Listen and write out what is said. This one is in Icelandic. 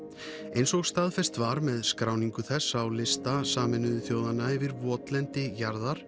eins og staðfest var með skráningu þess á lista Sameinuðu þjóðanna yfir votlendi jarðar